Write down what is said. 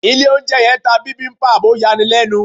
Ilé oúnjẹ yẹn ń ta bibimbap, ó yani lẹ́nu.